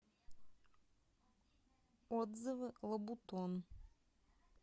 отзывы лабутон